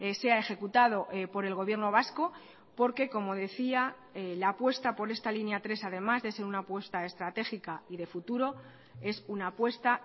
sea ejecutado por el gobierno vasco porque como decía la apuesta por esta línea tres además de ser una apuesta estratégica y de futuro es una apuesta